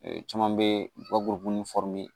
Ee caman bɛ yen u ka guworo